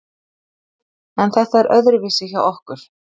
En þetta er öðruvísi hjá okkur